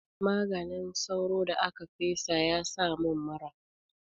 Maganin sauron da aka fesa ya sa mun mura.